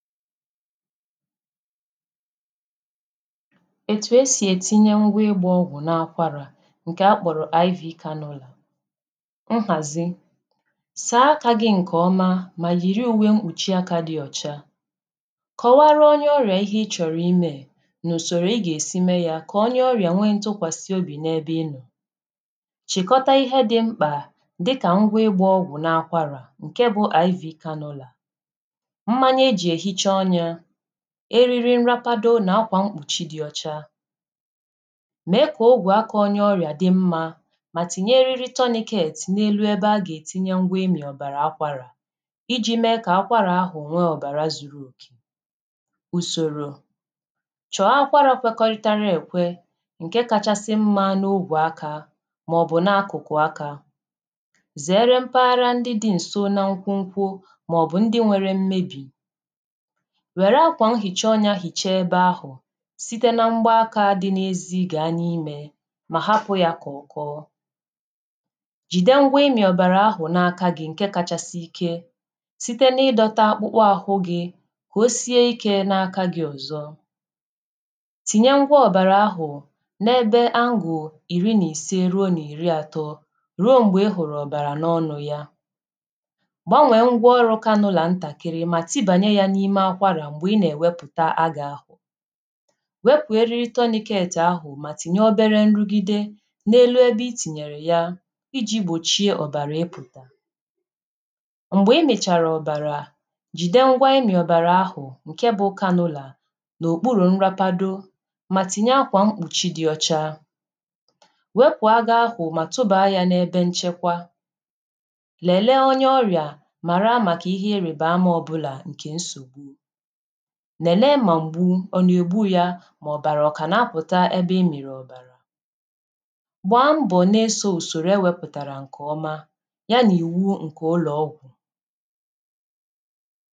Etù esì ètinye ngwa ịgbȧ ọgwụ̀ na-akwarà ǹkè akpọ̀rọ̀ IV kanọ̇là. Nhàzi: àa akà gị̇ ǹkè ọma mà yìri ùwe mkpùchi akȧ dị ọcha, kọ̀wara onye ọrìà ihe ị chọ̀rọ̀ imė è, n’ùsòrò ị gà-èsi mee yȧ kà onye ọrìà nwee ntụkwàsị obì n’ebe ị nọ, chị̀kọta ihe dị̇ mkpà dịkà ngwa ịgbȧ ọgwụ̀ na-akwarà ǹke bụ Iv kanọ̇là, mmanya eji ehicha ọnyá, eriri nrapado n'akwa mkpuchi dị ọcha, mee ka ogwe aka onye ọrịa dị mmȧ ma tinye eriri tourniquet n’elu ebe a ga-etinye ngwa imi ọbara akwara iji mee ka akwara ahụ nwe ọbara zuru okè. Usoro, chọ akwara kwekọrịtara ekwe nke kachasị mmȧ n’ogwe aka maọbụ n’akụkụ aka, zeere mpaghara ndị dị nso na nkwu nkwu maọbụ ndị nwere mmebi, wère akwà nhicha ọnyȧ hicha ebe ahụ̀ site na mgba akȧ dị n’ezi gàa n’imė mà hapụ̇ yà kà ọ̀kọọ, jìde ngwa imi̇ ọ̀bàrà ahụ̀ n’aka gị̇ ǹke kachasị ike site na ịdọtȧ akpụkpọ àhụ gị̇ ka o sie ikė n’aka gị̇ ọ̀zọ, tìnye ngwa ọ̀bàrà ahụ̀ n’ebe anguu ìri nà ìse ruo nà ìri àtọ ruo m̀gbè ị hụ̀rụ̀ ọ̀bàrà n’ọnụ ya, gbanwè ngwa ọrụ̇ kanụlà ntàkịrị ma tibanye ya n'ime akwara m̀gbè ị nà-èwepùta agȧ ahụ̀, wepù eriri tourniquet ahụ̀ mà tinye obere nrugide n’elu ebe itinyèrè ya iji gbòchie ọ̀bàrà ịpụ̀ta. Mgbè i mèchàrà ọ̀bàrà jìde ngwa imi ọ̀bàrà ahụ̀ ǹke bụ kanụlà nà òkpurù nràpado mà tinye akwà mkpùchi dị ọcha, wepù agȧ ahụ̀ mà tụbaa yȧ n’ebe nchekwa, lèlee onye ọrịà màrà màkà ihe erèbeama ọbụlà ǹkè nsògbu, lelee ma mgbu ọ na-egbu ya ma ọbara ọ ka na-apụta ebe ị miri ọbara, gbaa mbọ na-eso usoro e wepụtara nke ọma ya n'iwu nke ụlọ ọgwụ.